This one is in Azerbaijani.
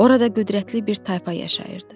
Orada qüdrətli bir tayfa yaşayırdı.